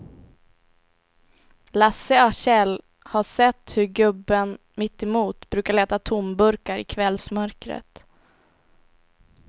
Lasse och Kjell har sett hur gubben mittemot brukar leta tomburkar i kvällsmörkret.